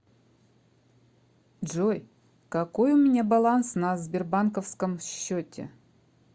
джой какой у меня баланс на сбербанковском счете